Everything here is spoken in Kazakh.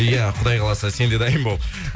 иә құдай қаласа сен де дайын бол